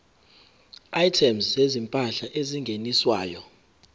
items zezimpahla ezingeniswayo